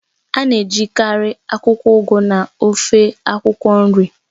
A na-ejikarị akwụkwọ Ugu na ofe akwụkwọ nri.